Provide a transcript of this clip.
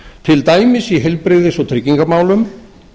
til dæmis í heilbrigðis og tryggingamálum